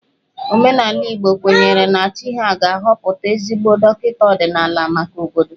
Omenala Igbo kwenyere na chi ha na-ahọpụta ezigbo dọkịta ọdịnala maka obodo